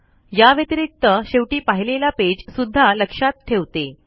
या व्यतिरिक्त शेवटी पाहिलेला पेज सुद्धा लक्षात ठेवते